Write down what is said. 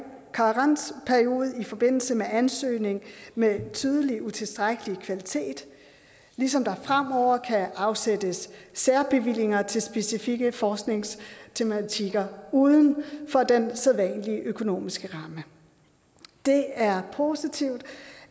karensperiode i forbindelse med ansøgninger med tydeligt utilstrækkelig kvalitet ligesom der fremover kan afsættes særbevillinger til specifikke forskningstematikker uden for den sædvanlige økonomiske ramme det er positivt